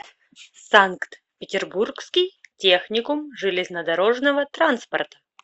санкт петербургский техникум железнодорожного транспорта